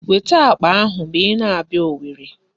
Weta akpa ahụ ma ị na-abịa Owerri.